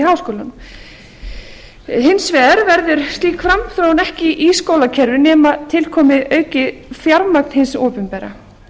háskólum hins vegar verður slík framþróun ekki í skólakerfinu nema til komi aukið fjármagn hins opinbera